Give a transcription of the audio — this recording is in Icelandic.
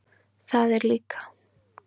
Það er líka.